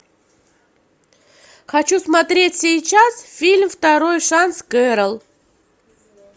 хочу смотреть сейчас фильм второй шанс кэрол